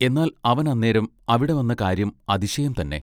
എന്നാൽ അവൻ അന്നേരം അവിടെ വന്ന കാര്യം അതിശയം തന്നെ.